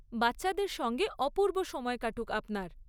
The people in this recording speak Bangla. বাচ্চাদের সঙ্গে অপূর্ব সময় কাটুক আপনার।